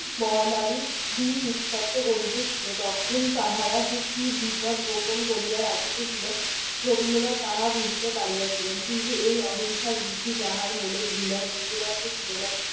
মহামারির বীজ উত্তপ্ত করিতেছিল তখন তাহারা যে কী বিপদ গোপন করিয়া রাখিতেছিল রবীন্দ্রনাথ তাহা বুঝিতে পারিয়াছিলেন। কিন্তু এই অহিংসার ঋষি যাহার মনে ঘৃণার বিন্দু মাত্র ছিল না